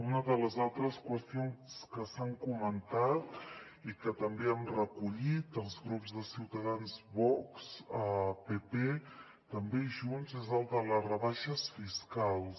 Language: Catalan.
una de les altres qüestions que s’han comentat i que també han recollit els grups de ciutadans vox pp també junts és la de les rebaixes fiscals